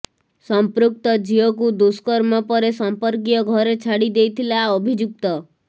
ସମ୍ପୃକ୍ତ ଝିଅକୁ ଦୁଷ୍କର୍ମ ପରେ ସମ୍ପର୍କୀୟ ଘରେ ଛାଡି ଦେଇଥିଲା ଅଭିଯୁକ୍ତ